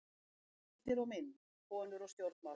Heimildir og mynd: Konur og stjórnmál.